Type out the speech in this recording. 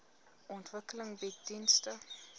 ontwikkeling bied dienste